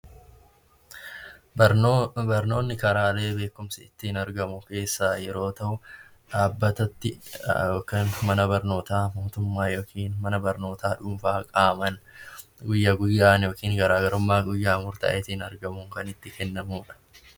Barnoonni karaalee beekumsi ittiin argamu keessaa yoo ta'u, dhaabbata itti mana barnootaa mootummaa yookiin mana barnootaa dhuunfaa kan guyyaa guyyaan kan itti kennamu jechuudha .